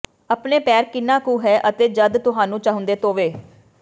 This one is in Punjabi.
ਆਪਣੇ ਪੈਰ ਕਿੰਨਾ ਕੁ ਹੈ ਅਤੇ ਜਦ ਤੁਹਾਨੂੰ ਚਾਹੁੰਦੇ ਧੋਵੋ